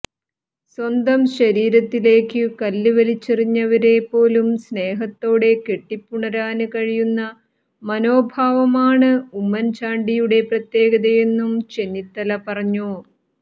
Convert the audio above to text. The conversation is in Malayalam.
സ്വന്തം ശരീരത്തിലേക്കു കല്ല് വലിച്ചെറിഞ്ഞവരെപ്പോലും സ്നേഹത്തോടെ കെട്ടിപ്പുണരാന് കഴിയുന്ന മനോഭാവമാണ് ഉമ്മന് ചാണ്ടിയുടെ പ്രത്യേകതയെന്നും ചെന്നിത്തല പറഞ്ഞു